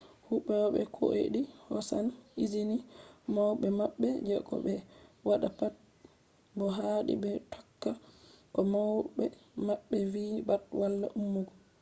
huwoɓe kuodai hosan izini mauɓe maɓɓe je ko ɓe watta pat bo haadi ɓe tokka ko mauɓe maɓɓe vi pat wala emugo